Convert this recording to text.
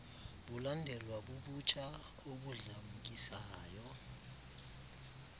bulandelwa bubutsha obudlamkisayo